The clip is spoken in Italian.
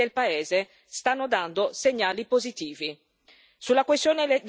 Sulla questione dell'elezione sono in gioco la trasparenza e l'imparzialità.